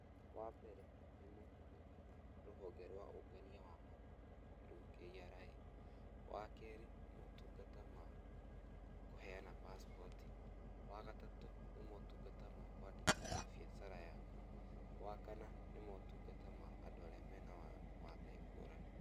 Wa mbere nĩ motungata ma rũhonge rwa ũngania wa magoti nĩruo KRA wa kerĩ motungata ma kũheana Passport, wagatatũ nĩ motungata ma kwandĩkithia biacara yaku, wa kana nĩ motungata ma andũ arĩa mena wathe ngũrani.